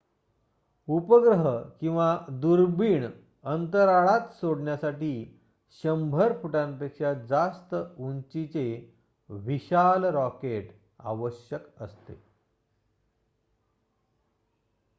उपग्रह किंवा दुर्बिण अंतराळात सोडण्यासाठी १०० फुटांपेक्षा जास्त उंचीचे विशाल रॉकेट आवश्यक असते